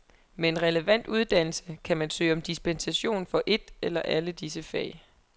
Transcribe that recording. Med en relevant uddannelse, kan man søge om dispensation for et eller alle disse fag.